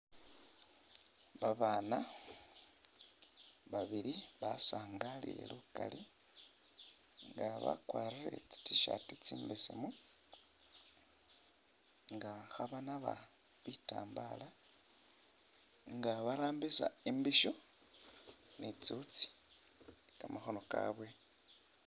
Babana babili basangalile lukali nga bakwarire tsi tshirt tsimbesemu nga khabanaba bitambala nga barambisa imbisho ni tsiwutsi kamakhono kabwe